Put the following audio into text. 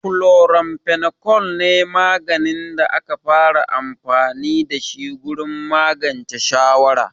Chloramphenicol ne maganin da aka fara amfani da shi gurin magance shawara.